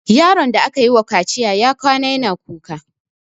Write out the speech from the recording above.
Yaron da aka yiwa kaciya ya kwana yana kuka.